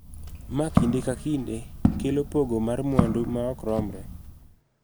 Ma kinde ka kinde kelo pogo mar mwandu ma ok romre.